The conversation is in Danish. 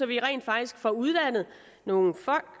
vi rent faktisk får uddannet nogle folk